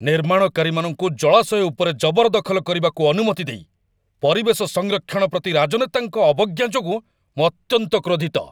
ନିର୍ମାଣକାରୀମାନଙ୍କୁ ଜଳାଶୟ ଉପରେ ଜବରଦଖଲ କରିବାକୁ ଅନୁମତି ଦେଇ ପରିବେଶ ସଂରକ୍ଷଣ ପ୍ରତି ରାଜନେତାଙ୍କ ଅବଜ୍ଞା ଯୋଗୁଁ ମୁଁ ଅତ୍ୟନ୍ତ କ୍ରୋଧିତ।